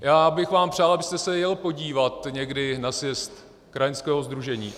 Já bych vám přál, abyste se jel podívat někdy na sjezd krajanského sdružení.